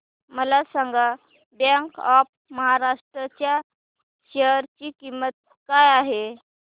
मला सांगा bank of Maharashtra च्या शेअर ची किंमत काय आहे